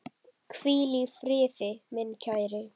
Hvíl í friði, minn kæri.